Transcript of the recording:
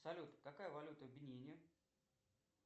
салют какая валюта в бенине